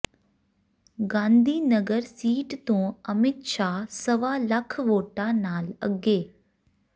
Gandhinagar seat ਤੋਂ ਅਮਿਤ ਸ਼ਾਹ ਸਵਾ ਲੱਖ ਵੋਟਾਂ ਨਾਲ ਅੱਗੇ